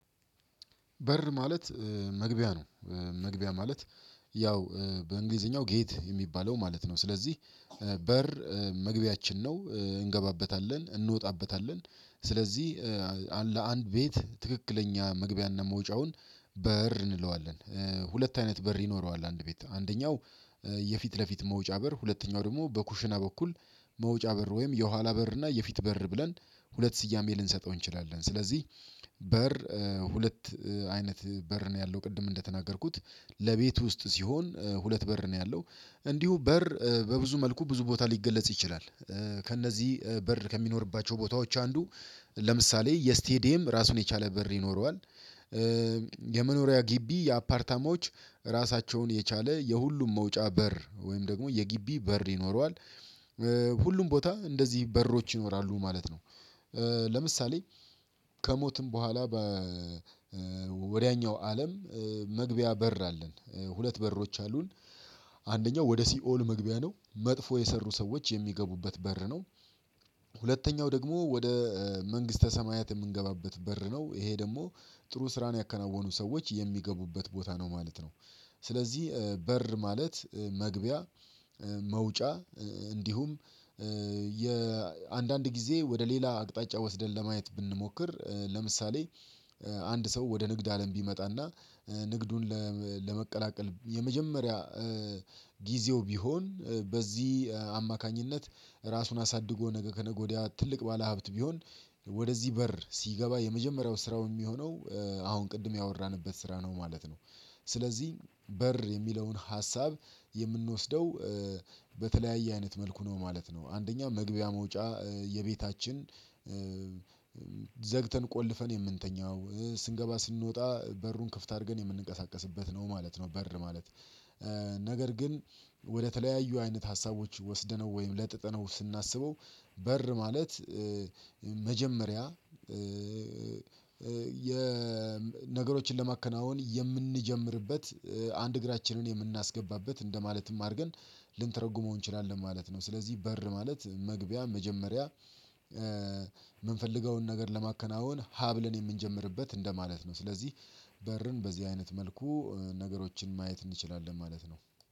በር ማለት መግቢያ ነው። መግቢያ ማለት ያው በእንግሊዘኛው ጌት የሚባለው ማለት ነው። ስለዚህ በር መግቢያችን ነው እንገባበታለን እንወጣበታለን። ስለዚህ ለአንድ ቤት ትክክለኛ መግቢያና መውጫውን በር እንለዋለን ሁለት አይነት በር ይኖረዋል። አንድ ቤት አንደኛው የፊት ለፊት መውጫ በር ሁለተኛው ደግሞ በኩሽና በኩል መውጫ በር ወይም የኋላ በር እና የፊት በር ብለን ሁለት ስያሜ ልንሰጠው እንችላለን። ስለዚህ በር ሁለት አይነት በር ነው ያለው። ቅድም እንደተናገርኩት ለቤት ውስጥ ሲሆን ሁለት በር ነው ያለው እንዲሁ በር በብዙ መልኩ ብዙ ቦታ ሊገለጽ ይችላል። ከእነዚህ በር ከሚኖርባቸው ቦታዎች አንዱ ለምሳሌ የስቴዲየም ራሱን የቻለ በር ይኖረዋል። የመኖሪያ ግቢ የአፓርታማዎች ራሳቸውን የቻለ የሁሉም መውጫ በር ወይም ደግሞ የጊቢ በር ይኖረዋል። ሁሉም ቦታ እንደዚህ በሮች ይኖራሉ ማለት ነው። ለምሳሌ ከሞትም በኋላ በወዲያኛው አለም መግቢያ በር አለን ሁለት በሮች አሉን። አንደኛው ወደ ሲኦል መግቢያ ነው መጥፎ የሰሩ ሰዎች የሚገቡበት በር ነው። ሁለተኛው ደግሞ ወደ መንግስተ ሰማያት የምንገባበት በር ነው ይሄ ደግሞ ጥሩ ስራን ያከናወኑ ሰዎች የሚገቡበት ቦታ ነው ማለት ነው። ስለዚህ በር ማለት መግቢያ መውጫ እንዲሁም የአንዳንድ ጊዜ ወደ ሌላ አቅጣጫ ወስደን ለማየት ብንሞክር ለምሳሌ አንድ ሰው ወደ ንግድ አለም ቢመጣና ንግዱን ለመቀላቀል የመጀመሪያ ጊዜው ቢሆን በዚህ አማካኝነት ራሱን አሳድጎ ነገ ከነገ ወዲያ ትልቅ ባለሀብት ቢሆን ወደዚህ በር ሲገባ የመጀመሪያው ስራው የሚሆነው አሁን ቅድም ያወራንበት ስራ ነው ማለት ነው። ስለዚህ በር የሚለውን ሀሳብ የምንወስደው በተለያየ አይነት መልኩ ነው ማለት ነው። አንደኛ መግቢያ መውጫ የቤታችን ዘግተን ቆልፈን የምንተኛው ስንገባ ስንወጣ በሩን ክፍት አድርገን የምንንቀሳቀስበት ነው ማለት ነው። በር ማለት ነገር ግን ወደተለያዩ አይነት ሀሳቦች ወስደነው ወይም ለጥጥነው ስናስበው በር ማለት መጀመሪያ የነገሮችን ለማከናወን የምንጀምርበት አንድ እግራችንን የምናስገባበት እንደማለትም አድርገን ልንተረጉመው እንችላለን ማለት ነው። ስለዚህ በር ማለት መግቢያ መጀመሪያ የምንፈልገውን ነገር ለማከናወን ሀ ብለን የምንጀምርበት እንደማለት ነው ስለዚህ በርን በዚህ አይነት መልኩ ነገሮችን ማየት እንችላለን ማለት ነው።